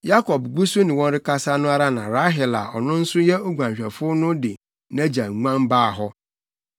Yakob gu so ne wɔn rekasa no ara na Rahel a ɔno nso yɛ oguanhwɛfo no de nʼagya nguan baa hɔ.